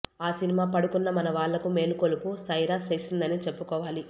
ఆ సినిమా పడుకున్న మన వాళ్ళకు మేలుకొలుపు సైర చేసిందనే చెప్పుకోవాలి